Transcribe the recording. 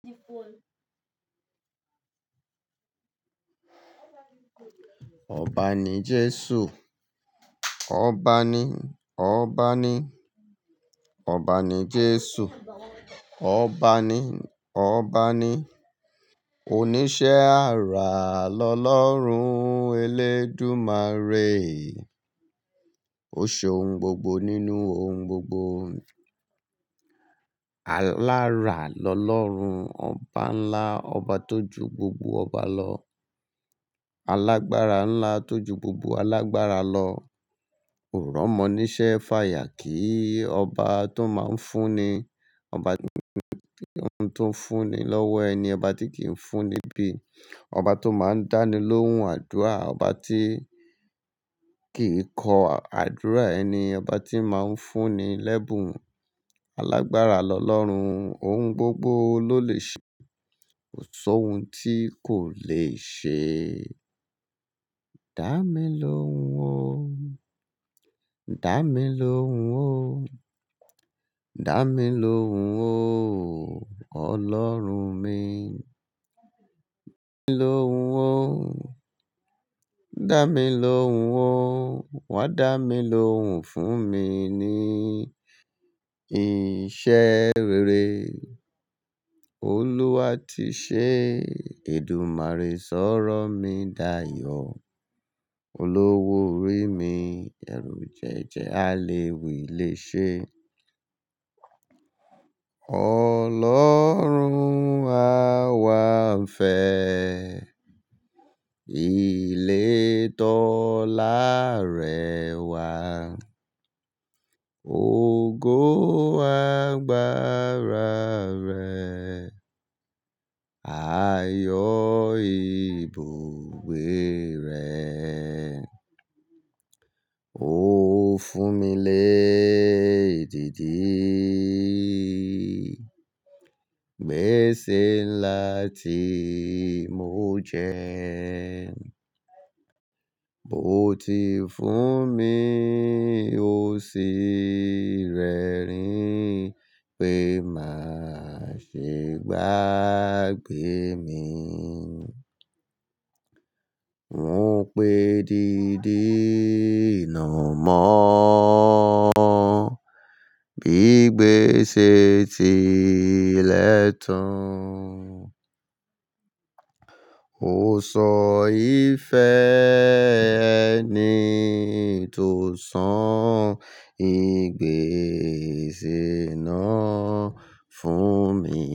Ọba ni Jesu. Ọba ni, ọba ni, ọba ni Jesu. Ọba ni, ọba ni. Oníṣẹ́ àrà lọ́lọ́run ẹlẹ́dùmarè. Ó ṣe ohun gbogbo nínú ohun gbogbo. Alára lọ́lọ́run. Ọba ńlá, ọba tó ju gbogbo ọba lọ. Alágbára ńlá tó ju gbogbo alágbára lọ. Òrò mo níṣẹ́ faya kíii. Ọba tó máa ń fún ni. Ọba tó ń fún ní lọ́wọ́ ẹni, ọba tí kìí fún ní bí. Ọba tó máa ń dánilóhùn àdúrà, ọba tí kìí kọ àdúrà ẹni, ọba tí máa ń fún ní l'ẹ́bùn. Alágbára lọ́lọ́run, ohun gbogbo ló lè ṣe, kò sọ ohun tí kò lè ṣe. Dá mi lóhùn o, dá mi lóhùn o, dá mi lóhùn o, ọlọ́run mi. Dámi lóhùn o, dámi lóhùn o, wá dámi lóhùn fún mi ní iṣẹ́ rere Olúwa ti ṣe èdùmàrè, sọ́rọ́ mi dayọ̀. Olówó orí mi, ẹrú jẹ́jẹ́ a le wilẹ ṣe, Ọlọ́run àwa ń fẹ ilé tọ́lá rẹ wá. Ogo agbára ra rẹ, ayọ̀ ìbùgbé rẹ. Ó fún mi lé didi, gbèsè ńlá tí mo jẹun. O ti fún mi òsì rẹ rìn pé máa ṣe gbàgbé mi. Wọ́n pé didi nà mọ́ bí gbèsè ti lẹ́tàn. Ó sọ ìfẹ́ ẹni tó san ìgbésè náà fún mi.